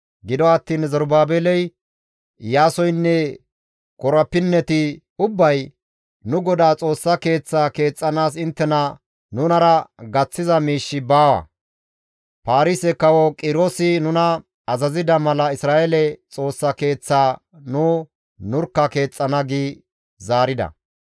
Gido attiin Zerubaabeley, Iyaasoynne korapinneti ubbay «Nu GODAA Xoossa Keeththaa keexxanaas inttena nunara gaththiza miishshi baawa; Paarise kawo Qiroosi nuna azazida mala Isra7eele Xoossa Keeththaa nu nurkka keexxana» gi zaarida.